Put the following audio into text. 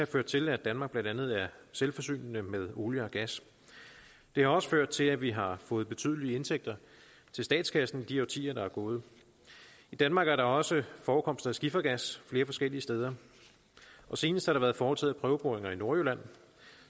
ført til at danmark blandt andet er selvforsynende med olie og gas det har også ført til at vi har fået betydelige indtægter til statskassen i de årtier der er gået i danmark er der også forekomster af skifergas flere forskellige steder senest har der været foretaget prøveboringer i nordjylland